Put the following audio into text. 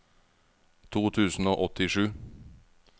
to tusen og åttisju